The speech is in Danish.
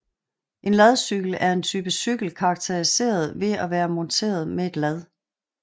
En ladcykel er en type cykel karakteriseret ved at være monteret med et lad